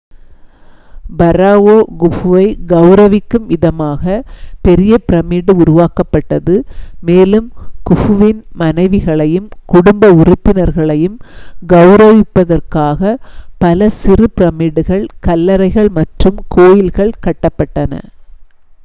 ஃபராவோ குஃபுவை கௌரவிக்கும் விதமாக பெரிய பிரமிடு உருவாக்கப்பட்டது மேலும் குஃபுவின் மனைவிகளையும் குடும்ப உறுப்பினர்களையும் கௌரவிப்பதற்காக பல சிறு பிரமிடுகள் கல்லறைகள் மற்றும் கோயில்கள் கட்டப்பட்டன